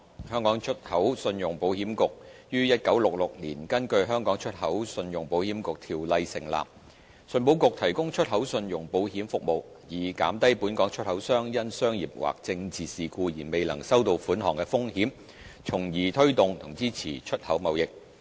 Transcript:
香港出口信用保險局於1966年根據《香港出口信用保險局條例》成立，信保局提供出口信用保險服務，以減低本港出口商因商業或政治事故而未能收到款項的風險，從而推動和支持出口貿易。